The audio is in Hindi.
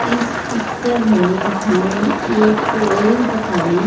इस पिक्चर में हमे एक कॉलेज दिखाई --